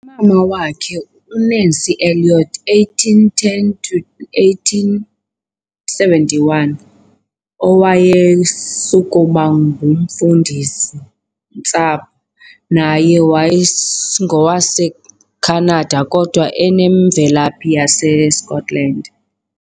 Umama wakhe, uNancy Elliot, 1810 to 1871, owayesukuba ngumfundisi-ntsapho, naye wayengowaseKhanada kodwa enemvelaphi yaseScotland.